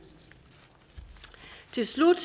til slut